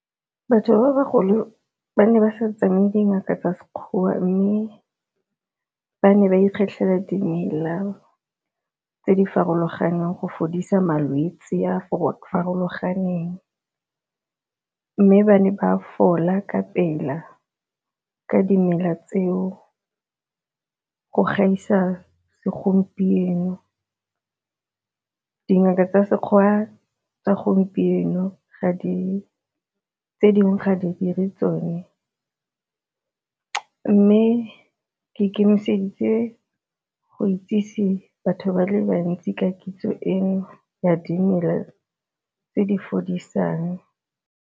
Batho ba bagolo ba ne ba sa tsamaye dingaka tsa Sekgowa mme ba ne ba ikgetlhela dimela tse di farologaneng go fodisa malwetse a a farologaneng, mme ba ne ba fola ka pela ka dimela tseo go gaisa segompieno. Dingaka tsa Sekgowa tsa gompieno ga di, tse dingwe ga di dire tsone mme ke ikemiseditse go itsise batho ba le bantsi ka kitso eno ya dimela tse di fodisang.